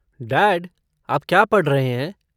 Dad आप क्या पढ़ रहे हैं?